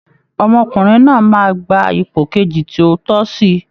Ọmọkùnrin náà máa gba ipò kejì tí ó tọ́sí